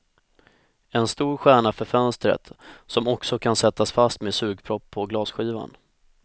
En stor stjärna för fönstret, som också kan sättas fast med sugpropp på glasskivan.